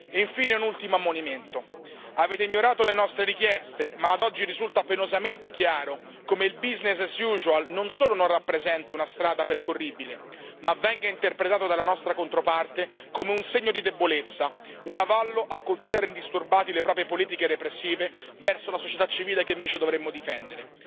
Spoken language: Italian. E infine, un ultimo ammonimento avete ignorato le nostre richieste ma ad oggi risulta penosamente chiaro come il business as usual non solo non rappresenti una strada percorribile ma venga interpretato dalla nostra controparte come un segno di debolezza, un avallo a continuare indisturbati le proprie politiche repressive verso la società civile che invece dovremmo difendere.